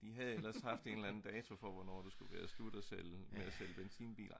de havde ellers haft en eller anden dato for hvornår det skulle være slut med at sælge benzinbiler